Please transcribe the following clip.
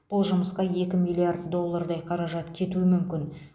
бұл жұмысқа екі миллиард доллардай қаражат кетуі мүмкін